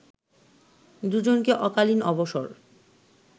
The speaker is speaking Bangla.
দুজনকে অকালীন অবসর